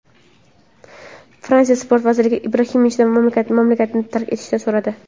Fransiya Sport vaziri Ibrohimovichdan mamlakatni tark etishni so‘radi.